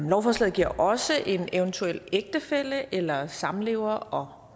lovforslaget giver også en eventuel ægtefælle eller samlever